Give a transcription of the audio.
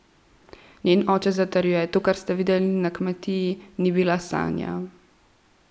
Njen oče zatrjuje: "To, kar ste videli na Kmetiji, ni bila Sanja!